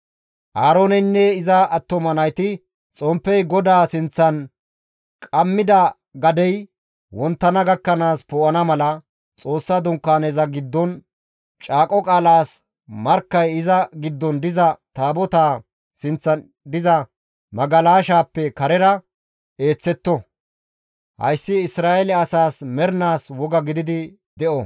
Aarooneynne iza attuma nayti xomppey GODAA sinththan qammida gadey wonttana gakkanaas poo7ana mala, Xoossa Dunkaaneza giddon, caaqo qaalaas markkay iza giddon diza taabotaa sinththan diza magalashaappe karera eeththetto. Hayssi Isra7eele asaas mernaas woga gidi de7o.